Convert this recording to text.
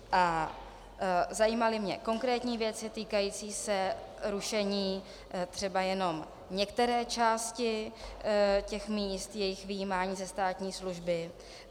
A zajímaly mě konkrétní věci týkající se rušení třeba jenom některé části těch míst, jejich vyjímání ze státní služby.